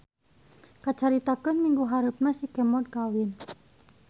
Kacaritakeun minggu hareupna si Kemod kawin.